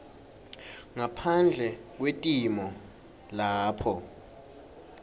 ngaphandle kwetimo lapho